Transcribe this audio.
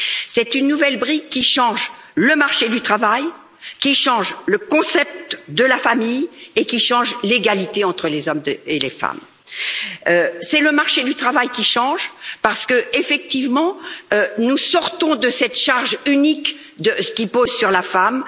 C'est une nouvelle brique qui change le marché du travail, le concept de la famille et l'égalité entre les hommes et les femmes. C'est le marché du travail qui change parce que, effectivement, nous sortons de cette charge unique qui repose sur la femme.